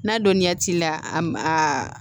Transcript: N'a dɔnniya t'i la a a